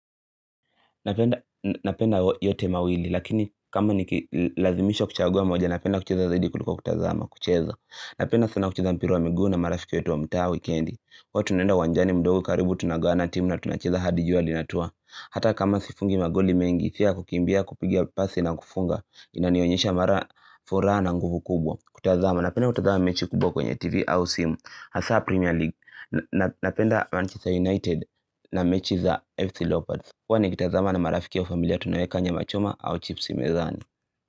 Napenda yote mawili, lakini kama nikilazimishwa kuchagua moja, napenda kucheza zaidi kuliko kutazama, kucheza. Napenda sana kucheza mpira wa migu7 na marafiki wetu wa mtaa wikendi. Huwa tunenda uwanjani mdogo karibu tunagawana timu na tunacheza hadi jua linatua. Hata kama sifungi magoli mengi, pia kukimbia kupiga pasi na kufunga, inanionyesha mara furaha na nguvu kumbwa. Kutazama, napenda kutazama mechi kubwa kwenye TV, au simu, hasa Premier League, napenda Manchester United na mechi za FC Lopards. Huwa ni kitazama na marafiki au familia tunaweka nyama machoma au chipsi mezani.